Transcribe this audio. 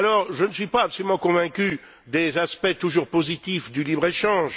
Je ne suis pas absolument convaincu des aspects toujours positifs du libre échange.